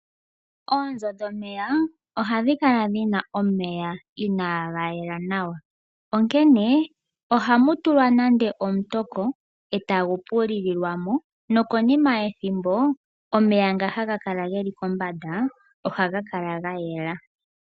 Oonzo dhomeya ohadhi kala dhina omeya inaaga yela nawa. Ohaku tulwa omutoko e tagu pilulilwa mo nokonima yethimbo omeya nga geli kombanda ohaga kala gayela.